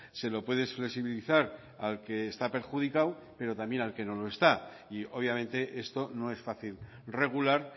se lo puedes flexibilizar al que está perjudicado pero también al que no lo está y obviamente esto no es fácil regular